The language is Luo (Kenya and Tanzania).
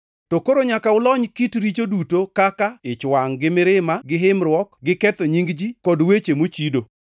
To koro nyaka ulony oko kit richo duto kaka: ich wangʼ gi mirima gi himruok gi ketho nying ji kod weche mochido.